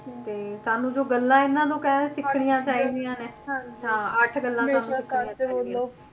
ਹੁੰ ਤੇ ਸਾਨੂੰ ਜੋ ਗੱਲਾਂ ਇਹਨਾਂ ਤੋਂ ਕਹਿਲੋ ਤੋਂ ਸਿੱਖਣੀਆਂ ਚਾਹੀਦੀਆਂ ਨੇ ਅੱਠ ਗੱਲਾਂ ਸਾਨੂੰ ਸਿੱਖਣੀਆਂ ਚਾਹੀਦੀਆਂ ਨੇ।